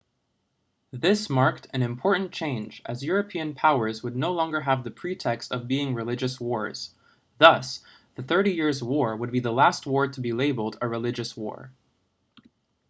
this marked an important change as european powers would no longer have the pretext of being religious wars thus the thirty years' war would be the last war to be labeled a religious war